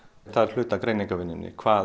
það er hluti af greiningarvinnunni hvað